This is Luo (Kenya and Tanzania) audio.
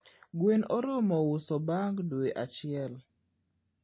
gwen oromo uso bang dwe achiel